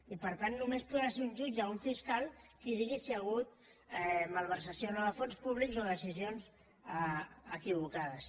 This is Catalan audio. i per tant només podrà ser un jutge o un fiscal qui digui si hi ha hagut malversació o no de fons públics o decisions equivocades